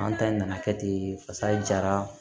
An ta in nana kɛ ten pasa jara